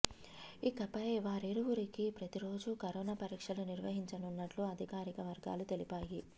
ఇకపై వారిరువురికీ ప్రతిరోజూ కరోనా పరీక్షలు నిర్వహించనున్నట్టు అధికారిక వర్గాలు తెలిపాయి